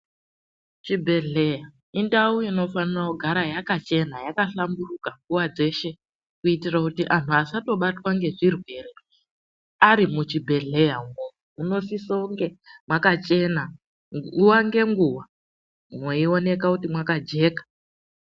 Chibhehleya indawu inofanire kugara yakachena, yakahlamburuka nguva dzeshe kuitire kuti vantu vasabatwe ngezvirwere varimwo muchibhehleyamwo. Munosise kunge mwakachena nguva nenguva mweioneke kuti mwakajeka.